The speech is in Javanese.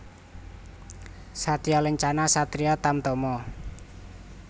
Satya Lencana Ksatria Tamtama